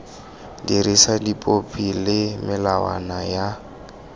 dirisa dipopi le melawana ya